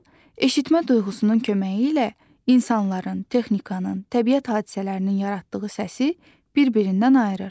O, eşitmə duyğusunun köməyi ilə insanların, texnikanın, təbiət hadisələrinin yaratdığı səsi bir-birindən ayırır.